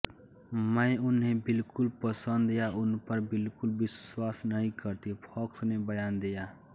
मैं उन्हें बिलकुल पसन्द या उनपर बिलकुल विश्वास नहीं करती फ़ॉक्स ने बयान दिया